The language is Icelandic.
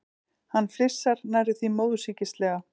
Hann flissar, nærri því móðursýkislega.